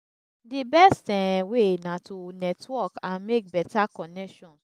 di best um way na to network and make beta connections.